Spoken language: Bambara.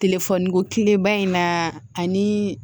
Telefɔniko tileba in na ani